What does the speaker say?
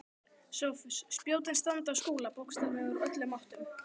SOPHUS: Spjótin standa á Skúla bókstaflega úr öllum áttum.